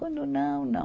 Quando não, não.